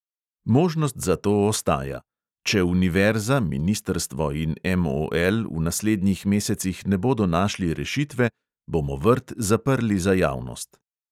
Možnost za to ostaja: "če univerza, ministrstvo in MOL v naslednjih mesecih ne bodo našli rešitve, bomo vrt zaprli za javnost."